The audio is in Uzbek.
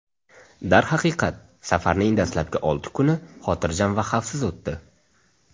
Darhaqiqat, safarning dastlabki olti kuni xotirjam va xavfsiz o‘tdi.